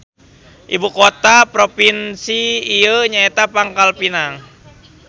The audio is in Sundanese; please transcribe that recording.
Ibu kota propinsi ieu nyaeta Pangkalpinang.